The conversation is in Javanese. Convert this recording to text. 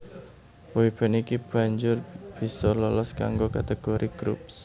Boy band iki banjur bisa lolos kanggo kategori Groups